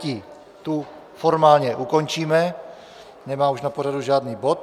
Tu formálně ukončíme, nemá už na pořadu žádný bod.